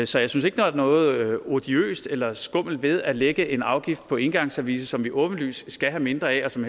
så jeg synes ikke der er noget odiøst eller skummelt ved at lægge en afgift på engangsservice som vi åbenlyst skal have mindre af og som